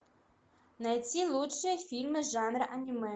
найти лучшие фильмы жанра аниме